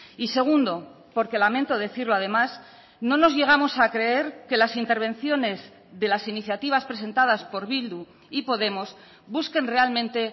y segundo porque lamento decirlo además no nos llegamos a creer que las intervenciones de las iniciativas presentadas por bildu y podemos busquen realmente